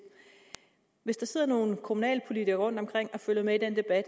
hvis der sidder nogle kommunalpolitikere rundtomkring og følger med i den